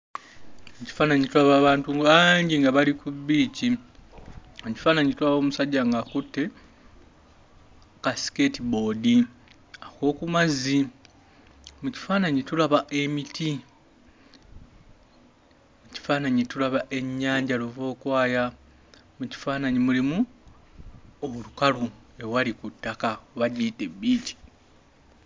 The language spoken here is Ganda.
Mu kifaananyi tulaba abantu bangi nga bali Ku bbiici. Mu kifaananyi tulaba omusajja ng'akutte ka skateboard ak'oku mazzi. Mu kifaananyi tulaba emiti. Mu kifaananyi tulaba ennyanja luvookwaya. Mu kifaananyi mulimu olukalu owali ku ttaka oba giyite bbiici.